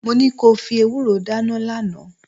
Mo ní ko fi ewúró dáná lánàá